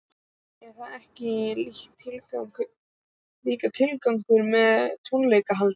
Er það ekki líka tilgangurinn með tónleikahaldi?